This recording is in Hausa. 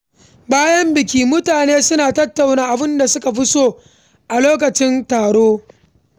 Bayan biki, mutane suna tattauna abin da suka fi so a lokacin taron.